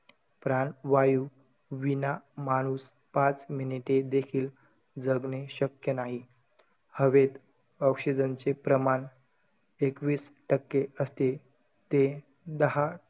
प्राणवायू विना माणूस पाच मिनीटे देखील जगणे शक्य नाही. हवेत oxygen चे प्रमाण एकवीस टक्के असते. ते दहा,